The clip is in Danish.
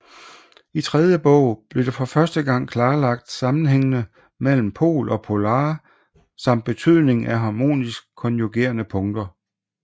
I tredje bog blev for første gang klarlagt sammenhængene mellem pol og polare samt betydningen af harmonisk konjugerede punkter